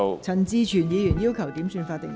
陳志全議員要求點算法定人數。